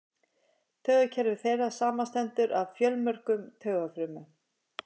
Taugakerfi þeirra samanstendur af fjölmörgum taugafrumum.